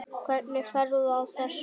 Hvernig ferðu að þessu?